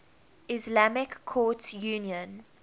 islamic courts union